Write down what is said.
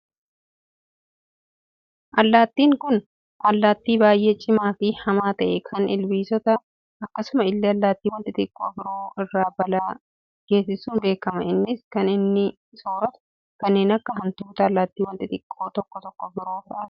Allaattiin Kun, allaattii baayyee cimaa fi hamaa ta'e, kan ilbiisotaa akkasuma illee allaattiiwwan xixiqqoo biroo irra balaa geessisuun beekama. Innis kan inni soorratu, kanneen akka hantuutaa, allaattiiwwan xixiqqoo tokko tokko biroo fa'aati.